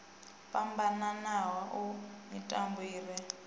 fhambananaho a mitupo i re